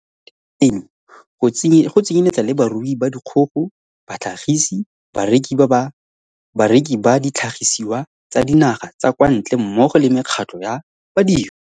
ba intaseteri eno, go tsenyeletsa le barui ba dikgogo, batlhagisi, bareki ba ditlhagisiwa tsa dinaga tsa kwa ntle mmogo le mekgatlho ya badiri.